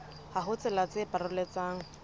ha ho tsela tse paroletsang